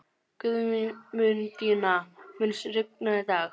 Guðmundína, mun rigna í dag?